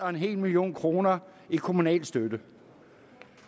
en million kroner i kommunal støtte